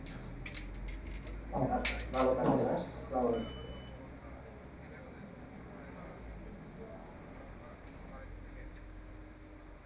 ভালো থাকবেন হ্যাঁ